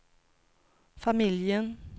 familjen